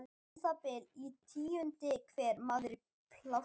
Um það bil tíundi hver maður í plássinu.